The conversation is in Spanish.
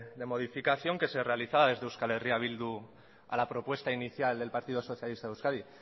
de modificación que se realizaba desde euskal herria bildu a la propuesta inicial del partido socialista de euskadi